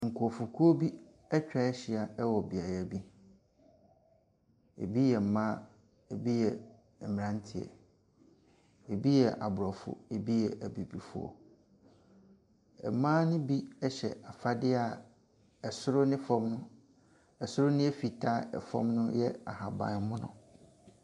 Nkrɔfokuo bi atwa ahyia wɔ beaeɛ bi. Ebi yɛ mmaa, ebi mmranteɛ, ebi Aborɔfo. Ebi yɛ Abibifo. Mmaa no bi hyɛ afade a ɛsoro no fam ɛsoro no yɛ fitaa, fam no yɛ ahabanmono.